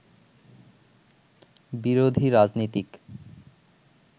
বিরোধী রাজনীতিক